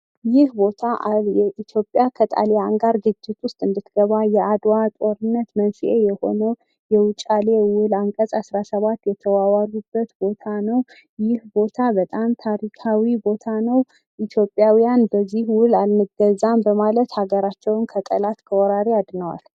ይህ ቦታ ኢትዮጵያ ከጣልያን ጋር ግጭት ውስጥ እንድትገባ፤ የአድዋ ጦርነት መንስኤ የሆነው የውጫሌ ውል አንቀጽ አስራሰባት የተዋዋሉበት ቦታ ነው። ይህ ቦታ በጣም ታሪካዊ ቦታ ነው ።ኢትዮጵያውያን በዚህ ውል አንገዛም በማለት ሀገራቸውን ከጠላት፣ ከወራሪ አድነዋል።